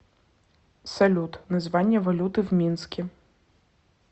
салют название валюты в минске